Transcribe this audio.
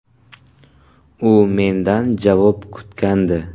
U mendan javob kutgandi.